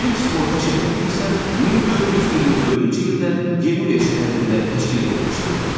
İlk sığorta şirkəti isə 1424-cü ildə Genuya şəhərində təşkil edilmişdi.